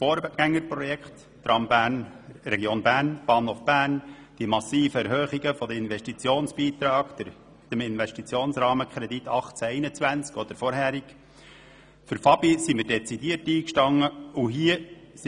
das Vorgängerprojekt Tram Region Bern, den Ausbau des Bahnhofs Bern, die massiven Erhöhungen der Investitionsbeiträge, den Investitionsrahmenkredit 2018– 2021, und auch für die Finanzierung und Ausbau der Bahninfrastruktur (FABI) standen wir dezidiert ein.